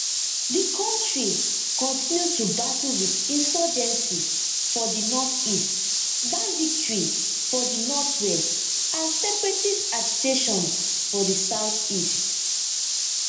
di kontri continue to battle wit insurgency for di northeast banditry for di northwest and separatist agitations for di southeast